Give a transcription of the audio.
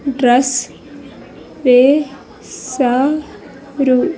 Dress వే శా రు.